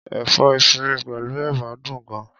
Ẹ̀fọ́ efinrin pẹ̀lú ẹ̀bà dùn gan-an.